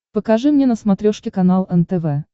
покажи мне на смотрешке канал нтв